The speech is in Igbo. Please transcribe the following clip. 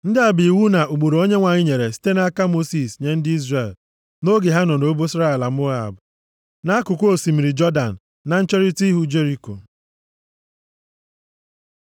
Ndị a bụ iwu na ụkpụrụ Onyenwe anyị sitere nʼaka Mosis nye ndị Izrel nʼoge ha nọ nʼobosara ala Moab, nʼakụkụ osimiri Jọdan, na ncherita ihu Jeriko.